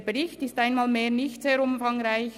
Der Bericht ist einmal mehr nicht sehr umfangreich.